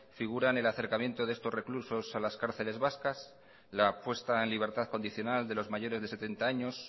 figuran el acercamiento de estos reclusos a las cárceles vascas la puesta en libertad condicional de los mayores de setenta años